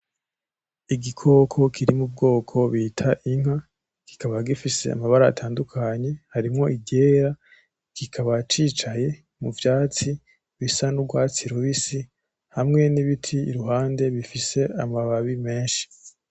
Igikoko kiri mu bwoko bita inka, kikaba gifise amabara atandukanye harimwo iryera kikaba cicaye mu vyatsi bisa n'ugwatsi rubisi hamwe n'ibiti iruhande bifise amababi menshi.